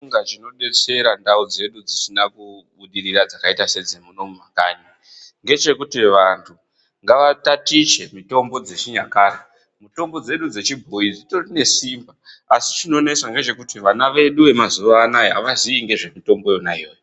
Ndofunga chinobetsera ndau dzedu dzisina kubudirira dzakaita sedzemunomu mumakanyi ngechekuti vantu ngava tatiche mitombo dzechinyakare. Mitombo dzedu dzechibhoyi dzitori ne simba asi chinonesa ngechekuti vana vedu vemazuwanaya avazivi ngezvemutombo yona iyoyo.